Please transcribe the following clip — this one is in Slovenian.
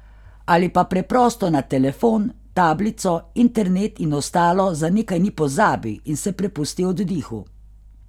Ali pa preprosto na telefon, tablico, internet in ostalo za nekaj dni pozabi in se prepusti oddihu.